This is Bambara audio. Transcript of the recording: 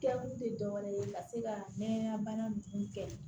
Kɛ kun tɛ dɔ wɛrɛ ye ka se ka nɛgɛnna bana ninnu kɛ